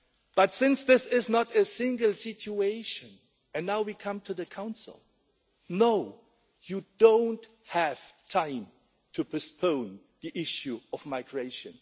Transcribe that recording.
But since this is not an isolated situation and now we come to the Council no, you don't have time to postpone the issue of migration.